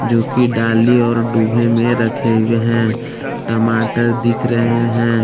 जो की डाली और डूहे में रखे हुए हैं टमाटर दिख रहे हैं।